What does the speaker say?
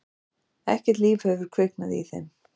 Ekkert líf hefur kviknað í þeim.